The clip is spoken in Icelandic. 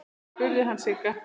spurði hann Sigga.